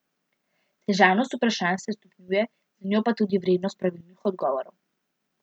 Težavnost vprašanj se stopnjuje, z njo pa tudi vrednost pravilnih odgovorov.